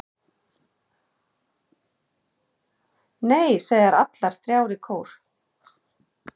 Nei, segja þær allar þrjár í kór.